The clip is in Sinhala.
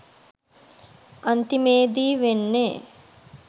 අන්තිමේදි වෙන්නෙ